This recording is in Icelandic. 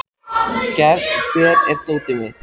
Gefn, hvar er dótið mitt?